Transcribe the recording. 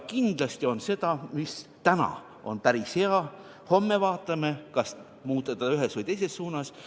Kindlasti on seda, mis täna on päris hea, aga homme vaatame, kas muuta seda ühes või teises suunas.